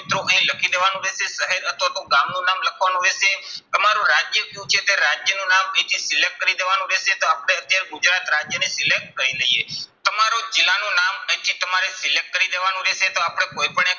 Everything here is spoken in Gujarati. મિત્રો અહીં લખી દેવાનું રહેશે. શહેર અથવા તો ગામનું નામ લખવાનું રહેશે. તમારું રાજ્ય શું છે તે રાજ્યનું નામ અહીંથી select કરી દેવાનું રહેશે. તો આપણે જે ગુજરાત રાજ્યને select કરી લઈએ. તમારું જિલ્લાનું નામ અહીંથી તમારે select કરી દેવાનું રહેશે. તો આપણે કોઈ પણ